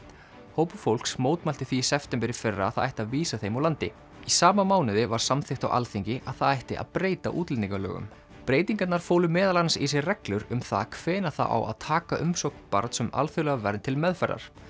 hópur fólks mótmælti því í september í fyrra að það ætti að vísa þeim úr landi sama mánuði var samþykkt á Alþingi að það ætti að breyta útlendingalögum breytingarnar fólu meðal annars í sér reglur um það hvenær það á að taka umsókn barns um alþjóðlega vernd til meðferðar